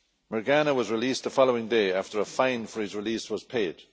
Mirgani was released the following day after a fine for his release was paid.